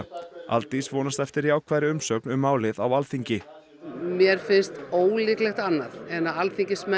Aldís vonast eftir jákvæðri umsögn um málið á Alþingi mér finnst ólíklegt annað en að alþingismenn